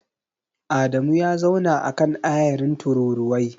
Adamu ya zauna a kan ayarin tururuwai.